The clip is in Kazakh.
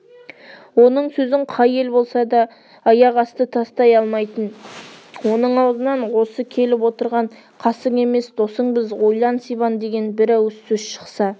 оның сөзін қай ел болса да аяқасты тастай алмайтын оның аузынан осы келіп отырған қасың емес досыңбыз ойлан сибан деген бір ауыз сөз шықса